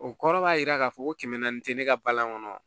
O kɔrɔ b'a jira k'a fɔ ko kɛmɛ naani tɛ ne ka balan kɔnɔ